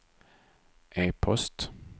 e-post